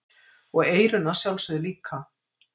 Og eyrun að sjálfsögðu líka.